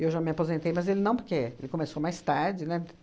Eu já me aposentei, mas ele não, porque ele começou mais tarde, né?